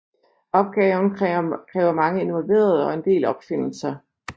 Opgaven kræver mange involverede og en del opfindelser